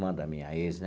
Irmã da minha ex, né?